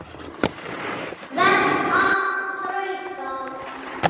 Verð að þrauka.